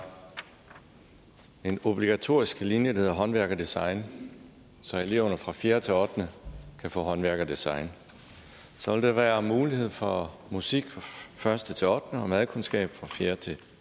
en obligatorisk linje der hedder håndværk og design så eleverne fra fjerde til ottende kan få håndværk og design så vil der være mulighed for musik fra første til ottende klasse og madkundskab fra fjerde til